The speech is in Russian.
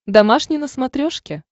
домашний на смотрешке